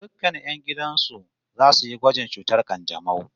Dukkan 'yan gidan su zasu yi gwajin cutar kanjamau